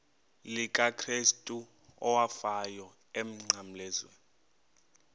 likakrestu owafayo emnqamlezweni